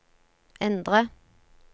endre